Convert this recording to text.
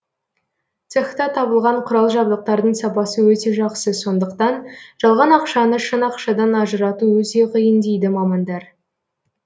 цехта табылған құрал жабдықтардың сапасы өте жақсы сондықтан жалған ақшаны шын ақшадан ажырату өте қиын дейді мамандар